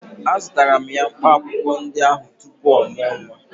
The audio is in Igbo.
Azụtara m ya mkpaakwụkwọ ndị ahụ tupu ọ mụọ nwa